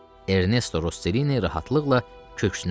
Ernesto Rosselini rahatlıqla köksünü ötürdü.